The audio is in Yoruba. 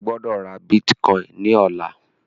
O gbódò rà Bitcoin ní ọlá!